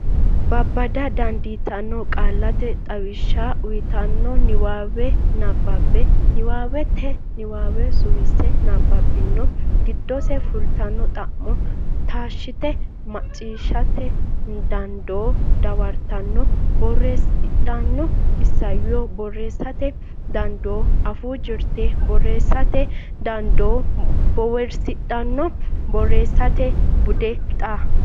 babbada dandiitanno qaallate xawishsha uytanno niwaawe nabbabbe niwaawete niwaawe suwisse nabbabbanno giddonni fultino xa muwa taashshite macciishshate dandoo dawartanno bowirsidhanno isayyo borreessate dandoo afuu jirte borreessate dandoo bowirsidhanno borreessate bude xaa.